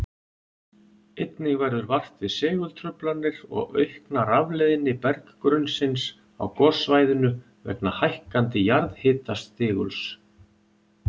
Einnig verður vart við segultruflanir og aukna rafleiðni berggrunnsins á gossvæðinu vegna hækkandi jarðhitastiguls.